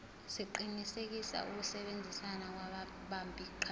siqinisekise ukusebenzisana kwababambiqhaza